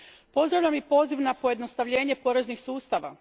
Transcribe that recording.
Pozdravljam i poziv na pojednostavljenje poreznih sustava.